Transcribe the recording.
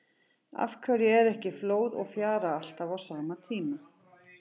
Af hverju er ekki flóð og fjara alltaf á sama tíma?